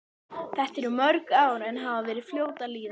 Þetta eru mörg ár en hafa verið fljót að líða.